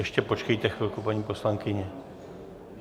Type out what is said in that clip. Ještě počkejte chvilku, paní poslankyně.